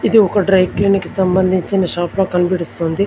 ఇది ఒక dry clinic కి సంబంధించిన షాప్ లా కన్బడిస్తుంది.